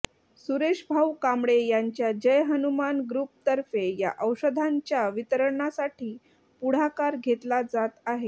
सुरेश भाऊ कांबळे यांच्या जय हनुमान ग्रुप तर्फे या औषधांच्या वितरणासाठी पुढाकार घेतला जात आहे